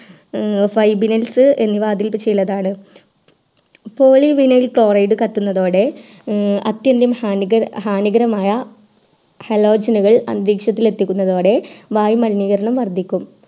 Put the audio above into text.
fabinas അതിൽ ചിലതാണ് polyvinyl chloride കത്തുന്നതോടെ ആതിഥ്യം ഹാനികരമായ halogen കൾ അന്തരീക്ഷത്തിൽ എത്തിക്കുന്നതോടെ വായു മലനീകരണം വർധിക്കും